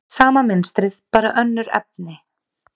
Sama mynstrið, bara önnur efni.